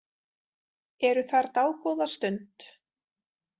Eru þar dágóða stund.